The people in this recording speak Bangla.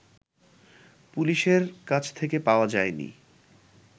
পুলিশের কাছ থেকে পাওয়া যায়নি